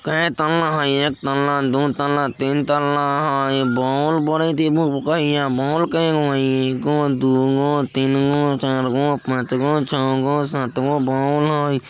केए तल्ला हेय एक तल्ला दु तल्ला तीन तल्ला हेय बोल बरेएत हेय इ भुक्भुकेइया बोल केए गो हेय एगो दू गो तीन गो चार गो पांच गो छ गो सात गो बोल हेय।